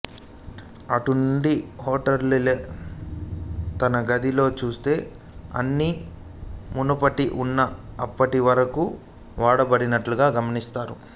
అటునుండి హొటల్కెళ్ళి తన గదిలో చూస్తే అన్నీ మునుపట్లా ఉన్నా అప్పటి వరకూ వాడబడినట్లుగా గమనిస్తాడు